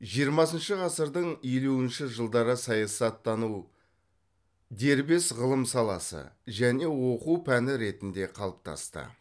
жиырмасыншы ғасырдың елуінші жылдары саясаттану дербес ғылым саласы және оқу пәні ретінде қалыптасты